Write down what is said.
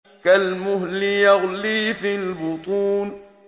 كَالْمُهْلِ يَغْلِي فِي الْبُطُونِ